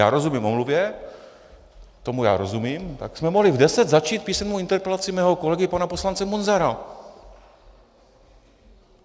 Já rozumím omluvě, tomu já rozumím, tak jsme mohli v deset začít písemnou interpelaci mého kolegy, pana poslance Munzara.